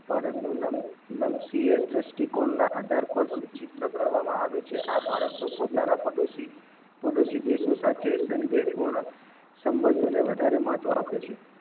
ભારત નું નમ નમ દ્રષ્ટિ કોણ ના આધારે પર સૂચિત્ર કરવામાં આવે છે આ ભારત ના પોતાના પડોસી દેશો સાથે સંદેશ પૂર્ણ સંબંધોને વધારે મહત્વ આપે છે.